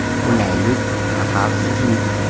Qulaylik va xavfsizlik.